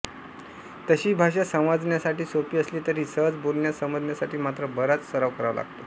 तशी ही भाषा समजण्यासाठी सोपी असली तरी सहज बोलण्यासमजण्यासाठी मात्र बराच सराव करावा लागतो